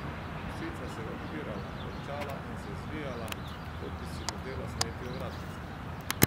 Psica se je upirala, renčala in se zvijala, kot bi si hotela sneti ovratnico.